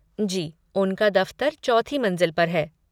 जी, उनका दफ़्तर चौथी मंज़िल पर है।